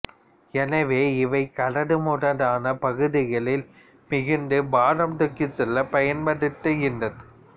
எனவே இவை கரடுமுரடான பகுதிகளில் மிகுந்த பாரம் தூக்கிச் செல்ல பயன்படுத்தப்படுகின்றன